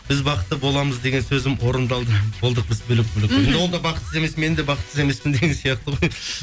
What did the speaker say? біз бақытты боламыз деген сөзім орындалды болдық біз бөлек бөлек мхм ол да бақытсыз емес мен де бақытсыз емеспін деген сияқты ғой